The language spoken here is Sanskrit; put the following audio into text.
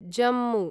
जम्मु